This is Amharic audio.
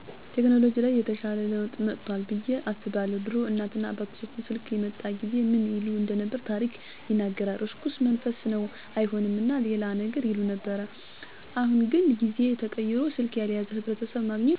ቴከኖሎጅ ላይ የተሻለ ለውጥ መጦአል ብዬ አስባለሁ። ድሮ እናት እና አባቶቻችን ስልክ የመጣ ጊዜ ምን ይሉ እንደነበር ታሪክ ይነግረናል። እርኩስ መንፈስ ነው አይሆንም እና ሌላም ነገር ይሉ ነበር። አሁን ግን ጊዜው ተቀይሮ ስልክ ያልያዘ ሕብረተሰብ ማግኘት ከባድ ነው። ሌላው ለውጥ ደግሞ የመንገድ ሥራ ሲሆን አሁን ላይ ብዙ አዳዲስ መንገዶች በመሰራታቸው ማህበረሰቡ ያመረተውን ምርጥ በቀላሉ ወደ ገበያ ማድረስ እንዲችል አግዞታል።